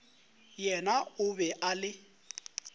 yena o be a le